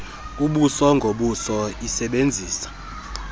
ubuso ngobuso isebenzisa